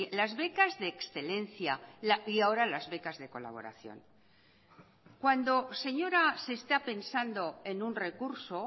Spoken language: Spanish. las becas de excelencia y ahora las becas de colaboración cuando señora se está pensando en un recurso